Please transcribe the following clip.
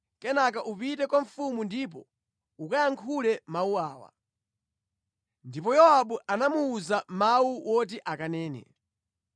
Kenaka upite kwa mfumu ndipo ukayankhule mawu awa.” Ndipo Yowabu anamuwuza mawu oti akanene.